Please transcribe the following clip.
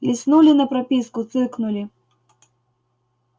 листнули на прописку цыкнули